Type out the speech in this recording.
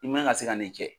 I man ka se ka nin kɛ